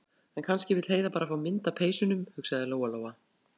En kannski vill Heiða bara fá mynd af peysunum, hugsaði Lóa- Lóa.